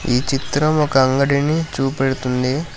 ఈ చిత్రం ఒక అంగడిని చూపెడుతుంది.